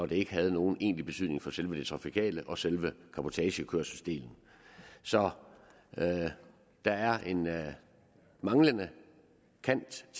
det ikke har nogen egentlig betydning for selve det trafikale og selve cabotagekørselsdelen så der er en manglende kant i